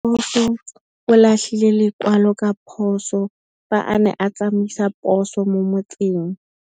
Raposo o latlhie lekwalô ka phosô fa a ne a tsamaisa poso mo motseng.